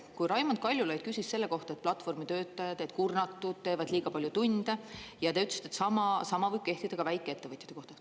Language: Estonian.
Kui Raimond Kaljulaid küsis selle kohta, et platvormitöötajad on kurnatud, teevad liiga palju tunde, ja te ütlesite, et sama sama võib kehtida ka väikeettevõtjate kohta.